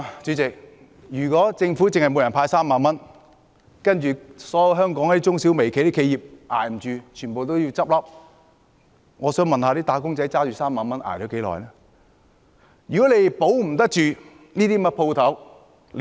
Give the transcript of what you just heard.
主席，如果政府只向每人派3萬元，然後所有香港中小微企捱不下去，全部都要倒閉，我想問"打工仔"拿着3萬元能捱到多久呢？